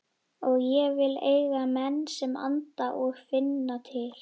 Og ég vil eiga menn sem anda og finna til.